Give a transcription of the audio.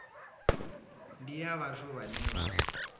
ndi ya vhathu vhane vha